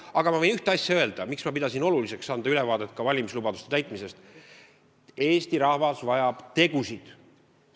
Aga ma tahan öelda, miks ma pidasin oluliseks anda ülevaade ka valimislubaduste täitmisest: Eesti rahvas vajab tegusid.